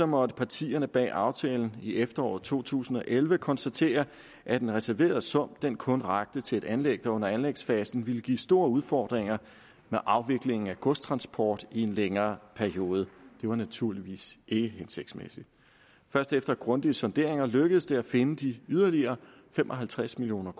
måtte partierne bag aftalen i efteråret to tusind og elleve konstatere at den reserverede sum kun rakte til et anlæg der under anlægsfasen ville give store udfordringer med afviklingen af godstransport i en længere periode det var naturligvis ikke hensigtsmæssigt først efter grundige sonderinger lykkedes det at finde de yderligere fem og halvtreds million